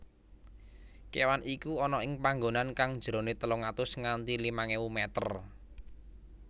kewan iku ana ing panggonan kang jerone telung atus nganti limang ewu meter